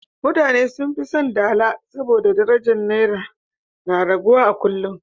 Mutane sun fi son dala saboda darajar Naira na raguwa a kullum.